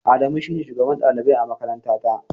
Adamu shi ne shugaban ɗalibai a makarantata.